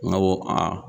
N go a